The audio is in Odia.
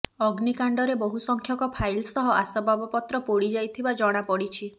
ଅଗ୍ନିକାଣ୍ଡରେ ବହୁ ସଂଖ୍ୟକ ଫାଇଲ ସହ ଆସବାବପତ୍ର ପୋଡ଼ି ଯାଇଥିବା ଜଣାପଡ଼ିଛି